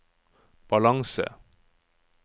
balanse